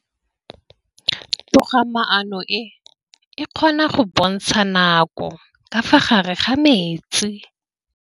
Toga-maanô e, e kgona go bontsha nakô ka fa gare ga metsi.